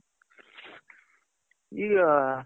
ಈಗ